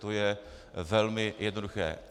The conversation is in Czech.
To je velmi jednoduché.